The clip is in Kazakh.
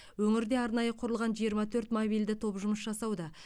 өңірде арнайы құрылған жиырма төрт мобильді топ жұмыс жасауда